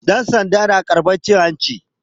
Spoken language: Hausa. Ɗansanda yana karɓar cin hanci